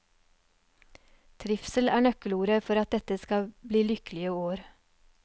Trivsel er nøkkelordet for at dette skal bli lykkelige år.